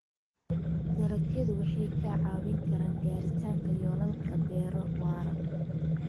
Dalagyadu waxay kaa caawin karaan gaaritaanka yoolalka beero waara.